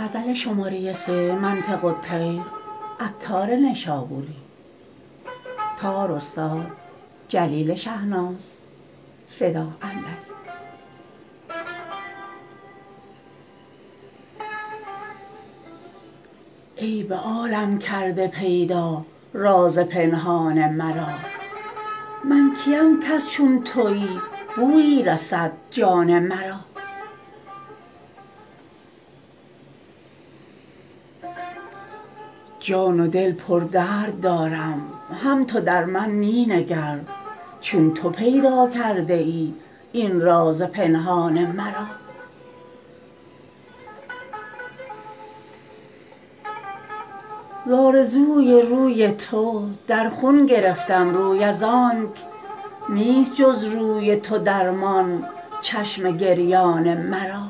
ای به عالم کرده پیدا راز پنهان مرا من کیم کز چون تویی بویی رسد جان مرا جان و دل پر درد دارم هم تو در من می نگر چون تو پیدا کرده ای این راز پنهان مرا ز آرزوی روی تو در خون گرفتم روی از آنک نیست جز روی تو درمان چشم گریان مرا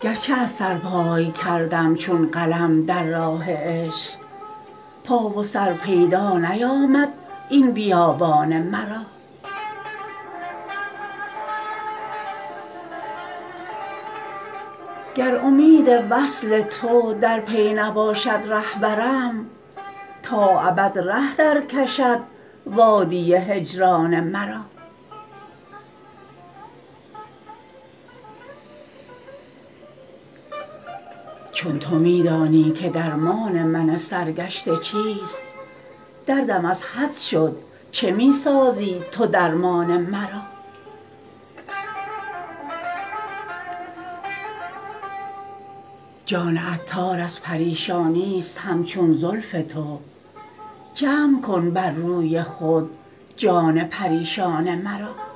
گرچه از سرپای کردم چون قلم در راه عشق پا و سر پیدا نیامد این بیابان مرا گر امید وصل تو در پی نباشد رهبرم تا ابد ره درکشد وادی هجران مرا چون تو می دانی که درمان من سرگشته چیست دردم از حد شد چه می سازی تو درمان مرا جان عطار از پریشانی است همچون زلف تو جمع کن بر روی خود جان پریشان مرا